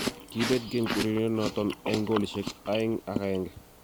Kiibet Genk urerionoton en goolishek 2-1.